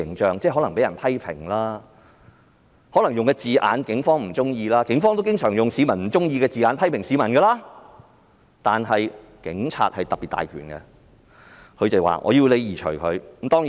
可能警方被人批評或警方不喜歡某些字眼——警方亦經常用市民不喜歡的字眼批評市民——但警察權力特別大，可以要求刪除有關資料。